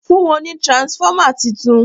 fún wón ní transformer títún